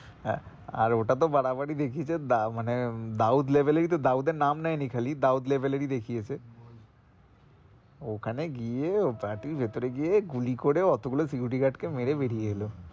আহ আর ওটা তো বাড়াবাড়ি দেখিয়েছে মানে দাউত এই তো মানে দাউত level এর নাম নেইনি খালি দাউত level এর ই দেখিয়েছ ওখানে গিয়ে ও party এর ভিতরে গিয়ে গুলি করে অত গুলো security guard মেরে বেরিয়ে এলো,